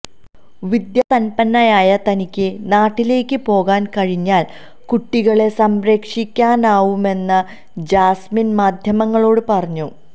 വിദ്യാസന്പന്നയായ തനിക്ക് നാട്ടിലേക്ക് പോകാൻ കഴിഞ്ഞാൽ കുട്ടികളെ സംരക്ഷിക്കാനാവുമെന്നും ജാസ്മിന് മാധ്യമങ്ങളോട് പറഞ്ഞു